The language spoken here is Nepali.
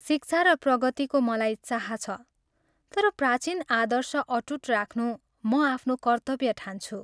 शिक्षा र प्रगतिको मलाई चाह छ तर प्राचीन आदर्श अटूट राख्नु म आफ्नो कर्त्तव्य ठान्छु।